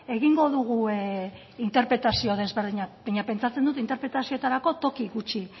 egingo dugu interpretazio desberdinak baina pentsatzen dut interpretazioetarako toki gutxi